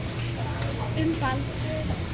Um Baldur.